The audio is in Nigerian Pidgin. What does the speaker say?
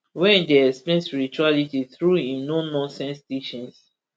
wey dey explain spirituality through im nononsense teachings